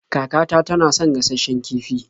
Kakata tana son gashasshen kifi.